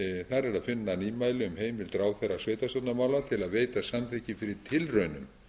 er að finna nýmæli um heimild ráðherra sveitarstjórnarmála til að veita samþykki fyrir tilraunum